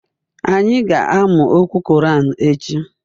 Anyị ga-amụ okwu Korean echi